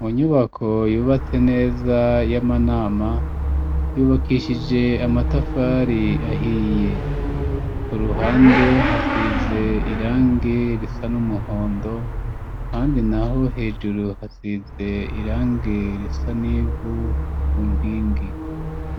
Mu nyubako yubatse neza y'amanama yubakishije amatafari ahiye ku ruhande hasize irange risa n'umuhondo handi naho hejuru hasize irange risa nivu ku npingi